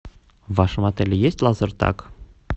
в вашем отеле есть лазертаг